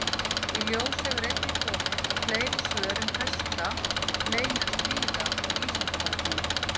Í ljós hefur einnig komið að fleiri svör um hesta leynast víða á Vísindavefnum.